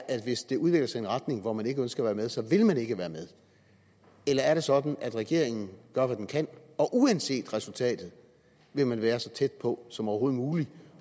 at hvis det udvikler sig i en retning hvor man ikke ønsker at være med så vil man ikke være med eller er det sådan at regeringen gør hvad den kan og at uanset resultatet vil man være så tæt på som overhovedet muligt